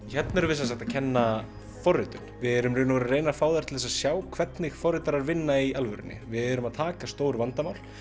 hérna erum við sem sagt að kenna forritun við erum í rauninni að reyna að fá þær til að sjá hvernig forritarar vinna í alvörunni við erum að taka stór vandamál